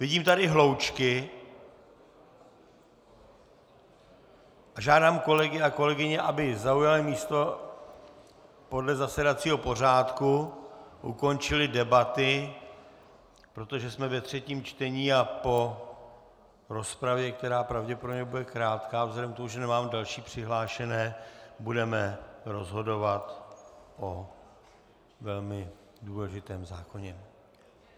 Vidím tady hloučky a žádám kolegy a kolegyně, aby zaujali místo podle zasedacího pořádku, ukončili debaty, protože jsme ve třetím čtení a po rozpravě, která pravděpodobně bude krátká vzhledem k tomu, že nemám další přihlášené, budeme rozhodovat o velmi důležitém zákoně.